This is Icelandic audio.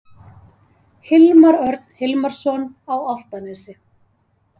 Hilmar Örn Hilmarsson á Álftanesi